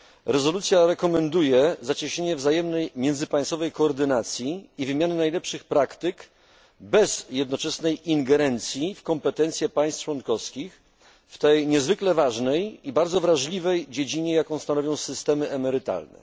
Rezolucja rekomenduje zacieśnienie wzajemnej międzypaństwowej koordynacji i wymiany najlepszych praktyk bez jednoczesnej ingerencji w kompetencje państw członkowskich w tej niezwykle ważnej i bardzo wrażliwej dziedzinie jaką stanowią systemy emerytalne.